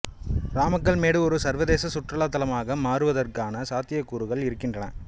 ராமக்கல்மேடு ஒரு சர்வதேச சுற்றுலா தலமாக மாறுவதற்கான சாத்தியக்கூறுகள் இருக்கின்றன